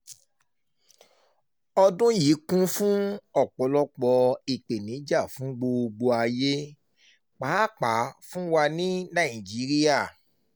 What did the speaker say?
ọdún yìí kún fún ọ̀pọ̀lọpọ̀ ìpèníjà fún gbogbo ayé pàápàá fún wa ní nàìjíríà